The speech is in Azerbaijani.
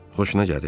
Xoşuna gəlir?